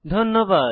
ধন্যবাদ